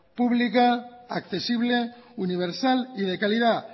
pública accesible universal y de calidad